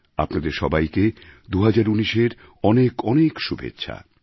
আপনাদের সবাইকে ২০১৯এর অনেক অনেক শুভেচ্ছা